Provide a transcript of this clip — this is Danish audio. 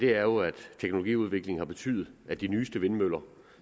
er jo at teknologiudviklingen har betydet at de nyeste vindmøller